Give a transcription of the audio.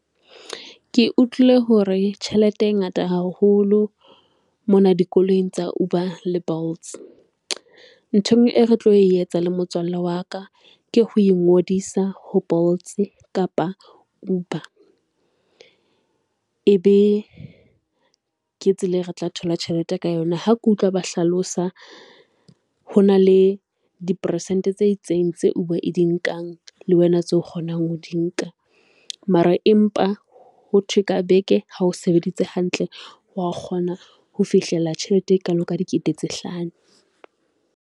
Ke utlwile hore tjhelete e ngata haholo mona dikoloing tsa Uber le Bolts. Ntho e re tlo etsa le motswalle wa ka, ke ho ingodisa ho Bolts kapa Uber e be ke tsela e re tla thola tjhelete ka yona. Ha ke utlwa ba hlalosa ho na le di persente tse itseng tse Uber e di nkang le wena tseo kgonang ho di nka, mara empa ho thwe ka beke ha o sebeditse hantle, wa kgona ho fihlela tjhelete e kalo ka dikete tse hlano.